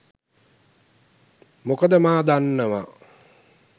මොකද මා දන්නවා